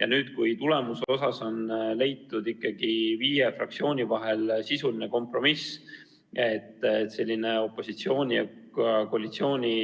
Ja nüüd on ikkagi leitud viie fraktsiooni vahel sisuline kompromiss, et selline opositsiooni ja koalitsiooni